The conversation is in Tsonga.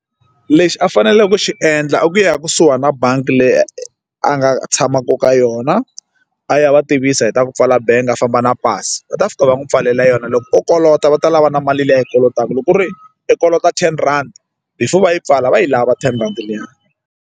Lexi a faneleke ku xi endla i ku ya kusuhani na bangi leyi a nga tshamaku ka yona a ya va tivisa hi ta ku pfala bangi a famba na pasi va ta fika va n'wi pfalela yona loko kolota va ta lava na mali leyi a yi kolotaka loko ku ri i kolota ten rand before va yi pfala va yi lava ten rand liya.